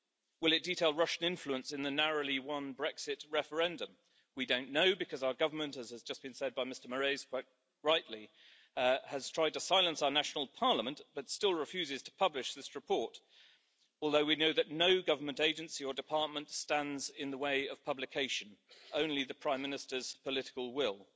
Will it detail Russian influence in the narrowly won Brexit referendum? We don't know because our government, as has just been said by Mr Moraes quite rightly, has tried to silence our national parliament but still refuses to publish this report, although we know that no government agency or department stands in the way of publication, only the Prime Minister's political will.